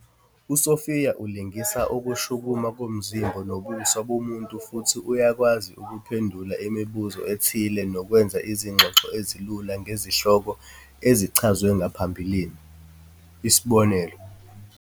USophia ulingisa ukushukuma komzimba nobuso bomuntu futhi uyakwazi ukuphendula imibuzo ethile nokwenza izingxoxo ezilula ngezihloko ezichazwe ngaphambilini isibonelo.